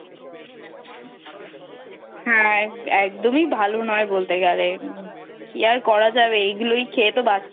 হ্যাঁ একদমই ভালো নয় বলতে গেলে কি আর করা যাবে এইগুলোই খেয়ে তো